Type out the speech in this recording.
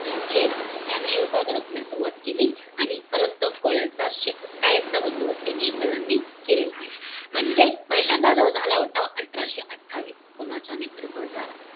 झेल त्यांनी हे उठाव दडपण्यास सुरवात केली आणि परत तो कोळ्यांचा क कायमचा बंदोबस्त त्यांनी इंग्रजांनी केलेला आहे. म्हणजे पहिल्यांदा जो झाला उठाव, अठराशे अठ्ठावीस. कोणाच्या नेतृत्वात झाला?